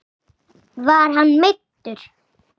Var hann meiddur?